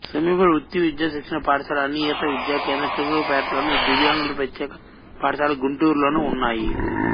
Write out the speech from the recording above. సమీప వృత్తి విద్యా శిక్షణ పాఠశాల అనియత విద్యా కేంద్రం చిలకలూరిపేటలోను దివ్యాంగుల ప్రత్యేక పాఠశాల గుంటూరు లోనూ ఉన్నాయి